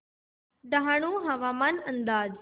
डहाणू हवामान अंदाज